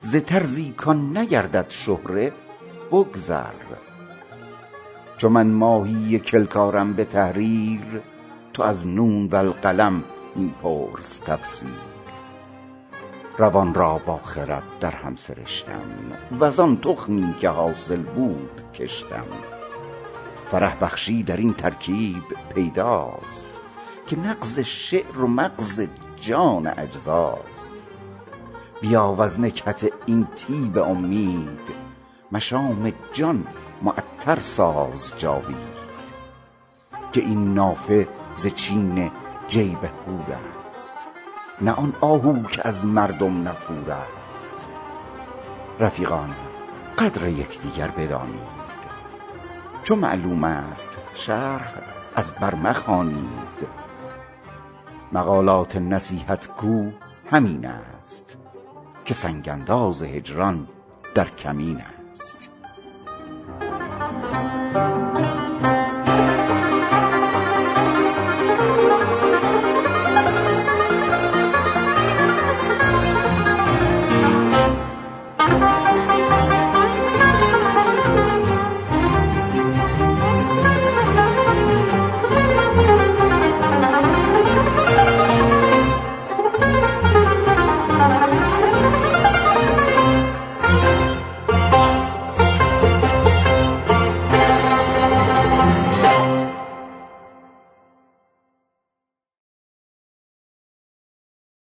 ز طرزی کآن نگردد شهره بگذر چو من ماهی کلک آرم به تحریر تو از نون والقلم می پرس تفسیر روان را با خرد درهم سرشتم وز آن تخمی که حاصل بود کشتم فرح بخشی درین ترکیب پیداست که نغز شعر و مغز جان اجزاست بیا وز نکهت این طیب امید مشام جان معطر ساز جاوید که این نافه ز چین جیب حور است نه آن آهو که از مردم نفور است رفیقان قدر یک دیگر بدانید چو معلوم است شرح از بر مخوانید مقالات نصیحت گو همین است که سنگ انداز هجران در کمین است